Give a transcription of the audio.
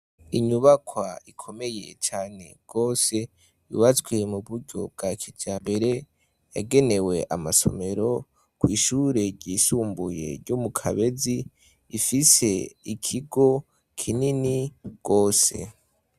Inyubakwa ikomeye cane rwose yubatswe mu buryo bwa kijambere yagenewe amasomero kw'ishure ryisumbuye ryo mu Kabezi rifise ikigo kinini rwose.